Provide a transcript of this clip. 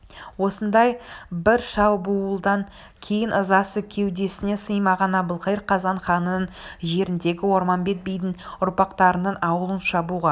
осындай бір шабуылдан кейін ызасы кеудесіне сыймаған әбілқайыр қазан ханының жеріндегі орманбет бидің ұрпақтарының аулын шабуға